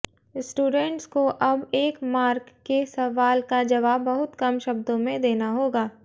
students को अब एक मार्क के सवाल का जवाब बहुत कम शब्दों में देना होगा